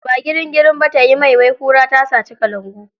Ba girin girin ba tayi mai, wai kura tasaci kalangu.